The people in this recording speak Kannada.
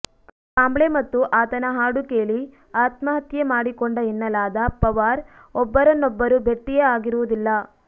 ಕಾಂಬ್ಳೆ ಮತ್ತು ಆತನ ಹಾಡು ಕೇಳಿ ಆತ್ಮಹತ್ಯೆ ಮಾಡಿಕೊಂಡ ಎನ್ನಲಾದ ಪವಾರ್ ಒಬ್ಬರನ್ನೊಬ್ಬರು ಭೆಟ್ಟಿಯೇ ಆಗಿರುವುದಿಲ್ಲ